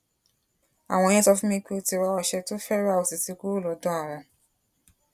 àwọn yẹn sọ fún mi pé ó ti ra ọsẹ tó fẹẹ rà ó sì ti kúrò lọdọ àwọn